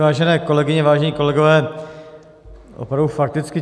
Vážené kolegyně, vážení kolegové, opravdu fakticky.